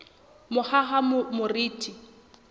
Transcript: mohahamoriti